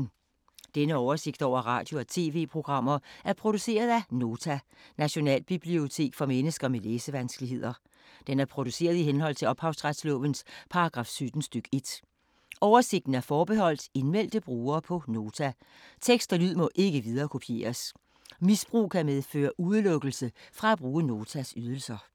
Denne oversigt over radio og TV-programmer er produceret af Nota, Nationalbibliotek for mennesker med læsevanskeligheder. Den er produceret i henhold til ophavsretslovens paragraf 17 stk. 1. Oversigten er forbeholdt indmeldte brugere på Nota. Tekst og lyd må ikke viderekopieres. Misbrug kan medføre udelukkelse fra at bruge Notas ydelser.